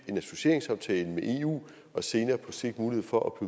en associeringsaftale med eu og senere på sigt mulighed for at